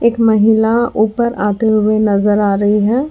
महिला ऊपर आते हुए नजर आ रही है।